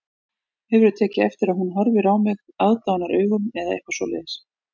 Hefurðu tekið eftir að hún horfi á mig aðdáunaraugum eða eitthvað svoleiðis